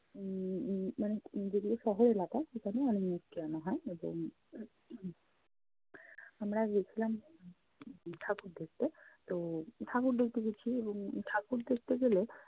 উম উম মানে যেগুলো শহর এলাকা সেখানে অনেক মূর্তি আনা হয়। এবং আমরা গেছিলাম উম ঠাকুর দেখতে। তো ঠাকুর দেখতে গেছি এবং ঠাকুর দেখতে গেলে